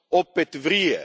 Opet vrije.